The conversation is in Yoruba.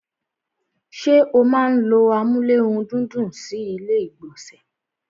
ṣé o máa n ló amúlérùndídùn sí ilé ìgbọ̀nsẹ̀?